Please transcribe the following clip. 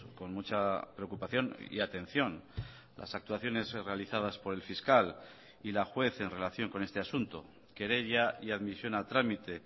con mucha preocupación y atención las actuaciones realizadas por el fiscal y la juez en relación con este asunto querella y admisión a trámite